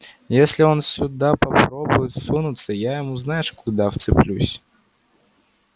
если он сюда попробует сунуться я ему знаешь куда вцеплюсь